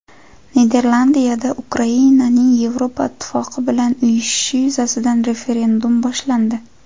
Niderlandiyada Ukrainaning Yevropa Ittifoqi bilan uyushishi yuzasidan referendum boshlandi.